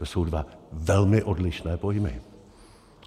To jsou dva velmi odlišné pojmy.